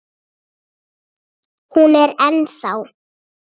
Hún er ennþá.